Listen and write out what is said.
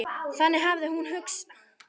Þannig hafði hann hugsað.